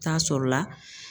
Taa sɔrɔla.